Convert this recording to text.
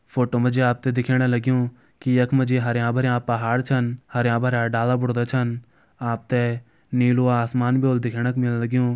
फोटो मा जी आप ते दिखेण लग्युं की यख मा जी हरयां भरयां पहाड़ छन हरयां भरयां डाला बुर्ता छन आप ते नीलू आसमान भी होलु दिखेण क मिल लग्युं।